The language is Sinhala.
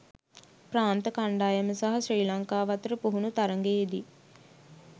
ප්‍රාන්ත කණ්ඩායම සහ ශ්‍රී ලංකාව අතර පුහුණු තරඟයේදී